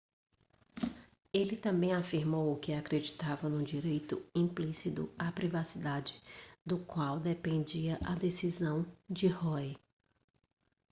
ele também afirmou que acreditava no direito implícito à privacidade do qual dependia a decisão de roe